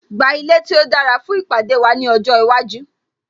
Gba ilé tí ó dára fún ìpàdé wa ọjọ́ iwájú